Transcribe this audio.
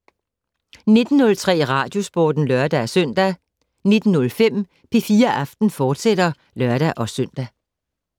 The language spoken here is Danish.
19:03: Radiosporten (lør-søn) 19:05: P4 Aften, fortsat (lør-søn)